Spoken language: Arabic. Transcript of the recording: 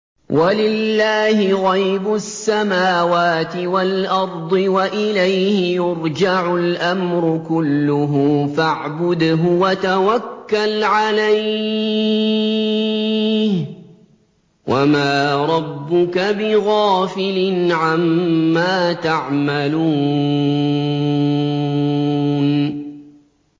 وَلِلَّهِ غَيْبُ السَّمَاوَاتِ وَالْأَرْضِ وَإِلَيْهِ يُرْجَعُ الْأَمْرُ كُلُّهُ فَاعْبُدْهُ وَتَوَكَّلْ عَلَيْهِ ۚ وَمَا رَبُّكَ بِغَافِلٍ عَمَّا تَعْمَلُونَ